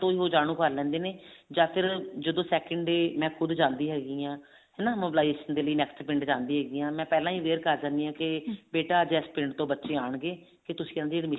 ਉਹ ਜਾਣੁ ਕਰ ਲੈਂਦੇ ਨੇ ਜਾਂ ਫ਼ੇਰ second day ਮੈਂ ਖੁਦ ਜਾਂਦੀ ਹੈਗੀ ਹਾਂ ਹਨਾ mobilization ਦੇ ਲਈ next ਪਿੰਡ ਜਾਂਦੀ ਹੈਗੀ ਹਾਂ ਮੈਂ ਪਹਿਲਾਂ ਹੀ aware ਕਰ ਲੈਂਦੀ ਹਾਂ ਕੀ ਬੇਟਾ ਅੱਜ ਇਸ ਪਿੰਡ ਤੋਂ ਬੱਚੇ ਆਉਣਗੇ ਤੁਸੀਂ ਉਹਨਾ